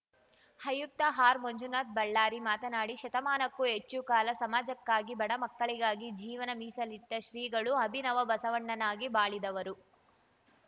ಆಯುಕ್ತ ಮಂಜುನಾಥ ಆರ್‌ಬಳ್ಳಾರಿ ಮಾತನಾಡಿ ಶತಮಾನಕ್ಕೂ ಹೆಚ್ಚು ಕಾಲ ಸಮಾಜಕ್ಕಾಗಿ ಬಡ ಮಕ್ಕಳಿಗಾಗಿ ಜೀವನ ಮೀಸಲಿಟ್ಟಶ್ರೀಗಳು ಅಭಿನವ ಬಸವಣ್ಣನಾಗಿ ಬಾಳಿದವರು